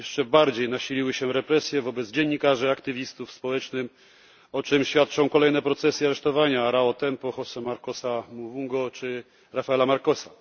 jeszcze bardziej nasiliły się represje wobec dziennikarzy, aktywistów społecznych, o czym świadczą kolejne procesy i aresztowania Arão Buli Tempy, José Marcosa Mavungi czy Rafaela Marquesa.